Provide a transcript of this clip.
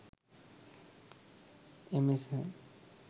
msn